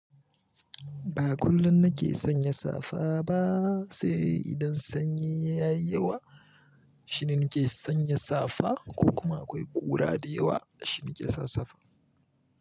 Ba kullum na ke sanya safa ba sai idan sanyi ya yi yawa shine nake sanya safa ko kuma akwai ƙura da yawa shine nake sa safa.